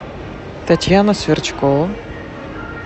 татьяна сверчкова